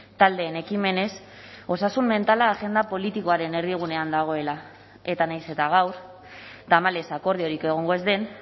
taldeen ekimenez osasun mentala agenda politikoaren erdigunean dagoela eta nahiz eta gaur tamalez akordiorik egongo ez den